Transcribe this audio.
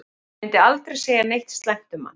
Ég myndi aldrei segja neitt slæmt um hann.